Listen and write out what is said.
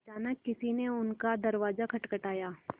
अचानक किसी ने उनका दरवाज़ा खटखटाया